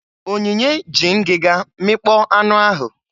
Onyinye ji ngịga mịkpọọ anụ ahụ.